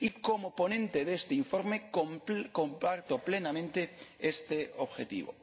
Como ponente de este informe, comparto plenamente este objetivo.